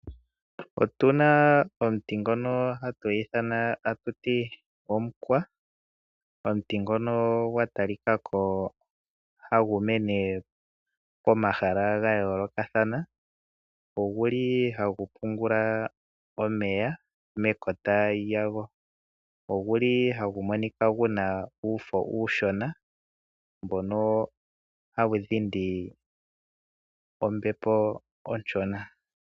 Otu na omuti ngoka hatu ithana omukwa. Omuti ngoka hagu mene pomahala ga yoolokathana. Ohagu pungula omeya mekota lyago. Ogu li hagu monika gwa tya uufo uushona mbono hawu dhindi ombepo oshona.